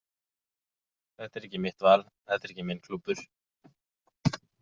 Þetta er ekki mitt val, þetta er ekki minn klúbbur.